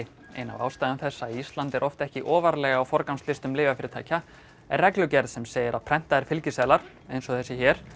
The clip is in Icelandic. ein af ástæðum þess að Ísland er oft ekki ofarlega á lyfjafyrirtækja er reglugerð sem segir að prentaðir fylgiseðlar eins og þessi